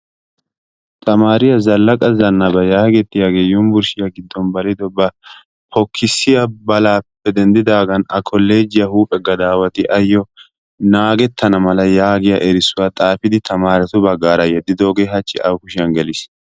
Tamaariya Zallaqa Zannaba geetettiyagee Yunbburshshiya giddon balidobaa pokkissiya balaappe. denddidaagan A kolleejjiya gadaawati ayyo naagettana mala yaagiya erissuwa xaafidogaa tamaaretu baggaara yeddidoogee hachchi awu kushiyan geliis.